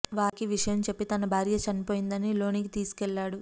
వారికి విషయం చెప్పి తన భార్య చనిపోయిందని లోనికి తీసుకు వెళ్లాడు